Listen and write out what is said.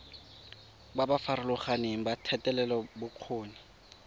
ba ba farologaneng ba thetelelobokgoni